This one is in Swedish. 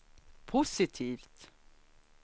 positivt